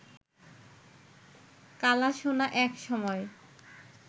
কালাসোনা এক সময়